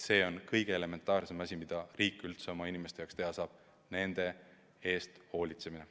See on kõige elementaarsem asi, mida riik üldse oma inimeste jaoks teha saab: nende eest hoolitseda.